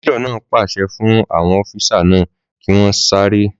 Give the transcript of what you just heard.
Méjọ̀ náà ń pàṣẹ fún àwọn ọ́físà náà kí wọ́n sáré